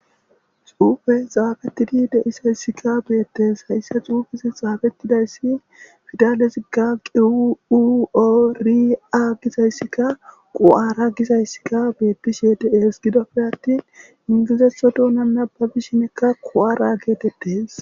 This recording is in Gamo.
Xuufe xaafettidi deisayssika beettes hayssa xuufizi xaafettidayssi fidalezigga quori7a gizayssikka qu7ara gizayssikka beettishe dees gidopfe attin ingizetho doona nababishinekka quwara geetettes.